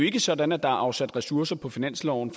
ikke sådan at der er afsat ressourcer på finansloven